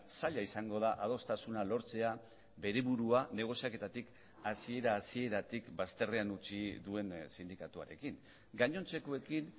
zaila izango da adostasuna lortzea bere burua negoziaketatik hasiera hasieratik bazterrean utzi duen sindikatuarekin gainontzekoekin